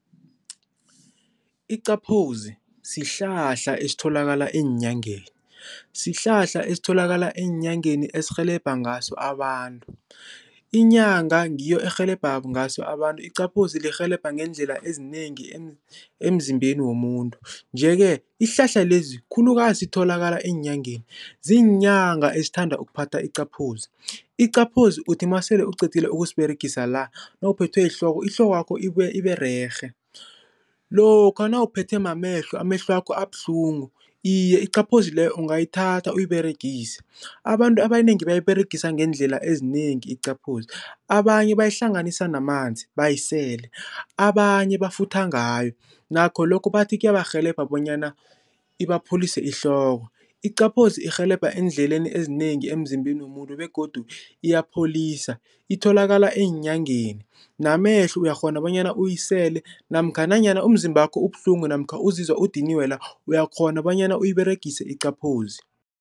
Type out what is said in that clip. Iqaphozi sihlahla esitholakala eenyangeni, sihlahla esitholakala eenyangeni esirhelebha ngaso abantu, inyanga ngiyo erhelebha ngaso abantu iqaphozi lirhelebha ngeendlela ezinengi emzimbeni womuntu. Nje-ke isihlahla lesi khulukazi sitholakala eenyangeni, ziinyanga esithanda ukuphatha iqaphozi. Iqaphozi uthi masele uqedile ukusiberegisa la nawuphethwe yihloko ihlokwakho ibuye ibererhe, lokha nawuphethwe mamehlo amehlwo wakho abuhlungu, iye iqaphozi leyo ungayithatha uyiberegise. Abantu abanengi bayiberegisa ngeendlela ezinengi iqaphozi, abanye bayihlanganisa namanzi bayisele, abanye bafutha ngayo nakho lokho bathi kuyabarhelebha bonyana ibapholise ihloko. Iqaphozi irhelebha eendleleni ezinengi emzimbeni womuntu begodu iyabapholisa itholakala eenyangeni namehlo uyakghona bonyana uyisele namkha nanyana umzimbakho ubuhlungu namkha uzizwa udiniwe la uyakghona bonyana uyiberegise iqaphozi.